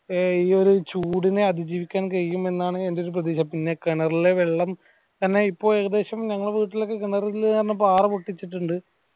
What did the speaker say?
ഈയൊരു ചൂടിനെ അതിജീവിക്കാൻ കഴിയുമെന്നാണ് എന്റെയൊരു പ്രതീക്ഷ പിന്നെ കിണറിലെ വെള്ളം തന്നെ ഇപ്പൊ ഏകദേശം ഞങ്ങളെ വീട്ടിലെ ഒക്കെ കിണറിലെ കാണ പാറ പൊട്ടിച്ചിട്ടുണ്ട്